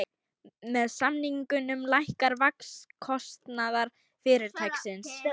Með samningunum lækkar vaxtakostnaður fyrirtækisins